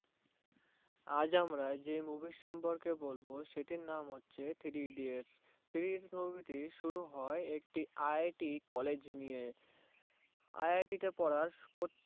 আজ আমরা যে Movie সম্পর্কে বলবো সেটির নাম হলো Three idiots movie টি শুরু হয়ে একটি IIT College নিয়ে IIT তে পড়ার পত্তেক